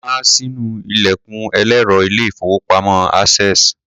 Ẹnìkan há sínú ilẹ̀kùn ẹlẹ́rọ ilé-ìfowópamọ́ Access.